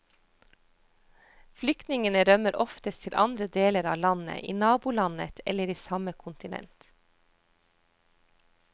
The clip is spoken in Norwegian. Flyktningene rømmer oftest til andre deler av landet, i nabolandet eller i samme kontinent.